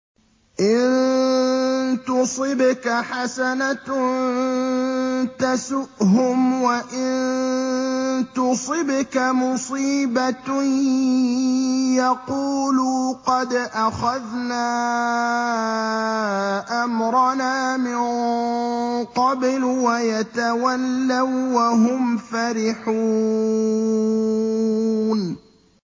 إِن تُصِبْكَ حَسَنَةٌ تَسُؤْهُمْ ۖ وَإِن تُصِبْكَ مُصِيبَةٌ يَقُولُوا قَدْ أَخَذْنَا أَمْرَنَا مِن قَبْلُ وَيَتَوَلَّوا وَّهُمْ فَرِحُونَ